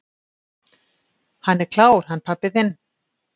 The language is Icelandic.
"""Hann er klár, hann pabbi þinn."""